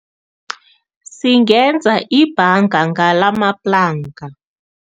Singenza ibhanga ngalamaplanka.